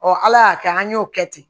ala y'a kɛ an y'o kɛ ten